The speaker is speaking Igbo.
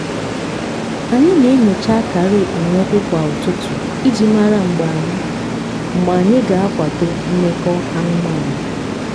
anyị na-enyocha akara okpomọkụ kwa ụtụtụ iji mara mgbe anyị mgbe anyị ga-akwadọ mmekọ anụmanụ.